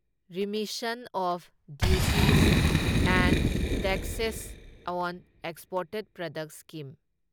remission of duties and taxes on exported products scheme